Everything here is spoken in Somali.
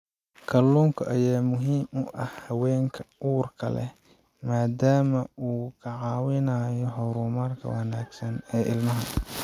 Kalluunka ayaa muhiim u ah haweenka uurka leh maadaama uu ka caawinayo horumarka wanaagsan ee ilmaha.